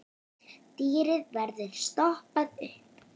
Dýrið verður stoppað upp.